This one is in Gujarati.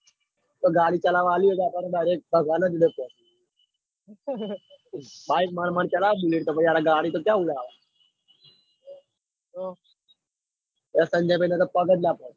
તે ગાડી ચાલવા આલી તો આપડે direct ભગવાન જોડે જ bike મંદ મંદ ચલાવતા હોય તો પછી ગાડી તો ક્યાં ઉલાળ ઓ પગ જ ના પોંચ.